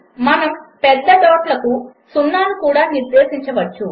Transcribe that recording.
మనము పెద్ద డాట్లకు o కూడా నిర్దేశించవచ్చు